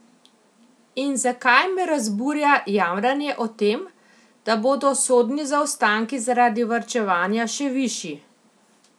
In zakaj me razburja jamranje o tem, da bodo sodni zaostanki zaradi varčevanja še višji?